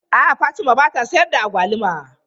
A'a Fatima ba ta sayar da agwaluma.